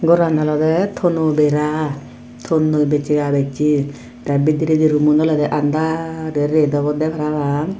goran olode thono bera thonnoi bechara beche tee bidiredi roomun olode andar ret obode parapang.